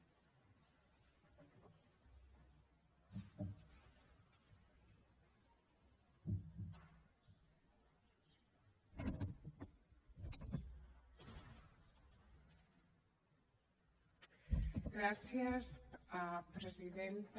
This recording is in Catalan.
gràcies presidenta